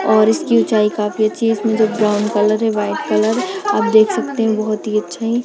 और इसकी ऊंचाई काफी अच्छी इसमे जो ब्राउन है व्हाइट कलर आप देख सकते है बोहोत ही अच्छी--